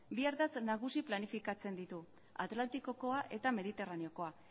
bi ardatz nagusi planifikatzen ditu atlantikokoa eta mediterraneokoa